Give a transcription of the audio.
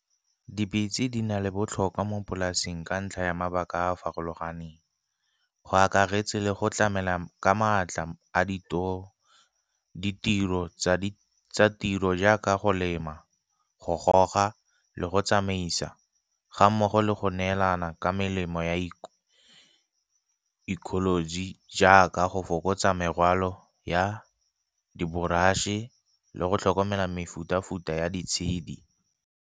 Dipitse di na le botlhokwa mo polasing ka ntlha ya mabaka a a farologaneng, go akaretse le go tlamela ka maatla a ditiro tsa tiro jaaka go lema, go goga, le go tsamaisa ga mmogo le go neelana ka melemo ya ecology jaaka go fokotsa morwalo ya diboratšhe e le go tlhokomela mefuta-futa ya di tshedi.